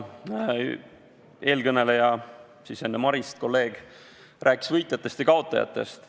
Enne Marist rääkinud kolleeg rääkis võitjatest ja kaotajatest.